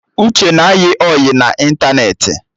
Uche na-ayị ọyị na ịntanetị